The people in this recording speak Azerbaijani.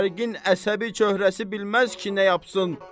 Şərqin əsəbi çöhrəsi bilməz ki, nə yapsın.